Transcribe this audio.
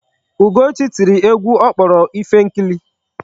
Ugochi tiri egwu ọ kpọrọ Ifenkili.